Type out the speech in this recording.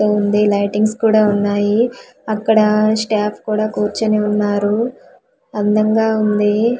ఉంది లైటింగ్స్ కూడా ఉన్నాయి అక్కడా స్టాఫ్ కూడా కూర్చొని ఉన్నారు అందంగా ఉంది.